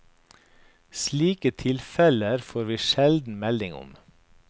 Slike tilfeller får vi sjelden melding om.